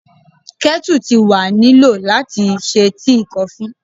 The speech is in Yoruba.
Kettle ti wa ni lo lati ṣe tii, kofi